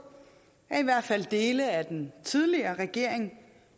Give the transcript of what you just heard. at i hvert fald dele af den tidligere regering